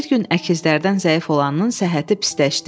Bir gün əkizlərdən zəif olanın səhhəti pisləşdi.